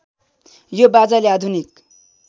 यो बाजाले आधुनिक